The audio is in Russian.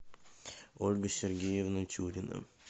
ольга сергеевна тюрина